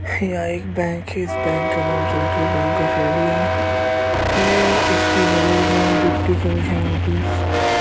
यह एक बैंक है इस बैंक का नाम सेंट्रल बैंक ऑफ़ इंडिया है इसके बगल में डिप्टी कमिश्नर ऑफिस --